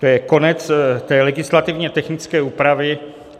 To je konec té legislativně technické úpravy.